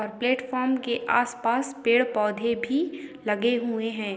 Platform के आसपास पेड़-पौधे भी लगे हुए हैं।